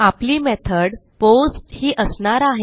आपली method post ही असणार आहे